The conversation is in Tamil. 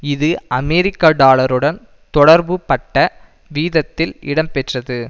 இது அமெரிக்க டாலருடன் தொடர்புபட்ட வீதத்தில் இடம்பெற்றது